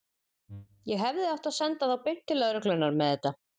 Ég hefði átt að senda þá beint til lögreglunnar með þetta.